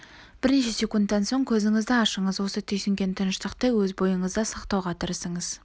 бірнеше секундтан соң көзіңізді ашыңыз осы түйсінген тыныштықты өз бойыңызда сақтауға тырысыңыз